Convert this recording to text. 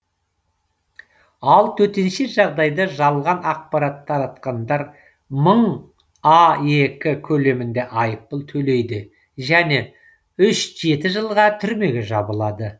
ал төтенше жағдайда жалған ақпарат таратқандар мың аек көлемінде айыппұл төлейді және үш жеті жылға түрмеге жабылады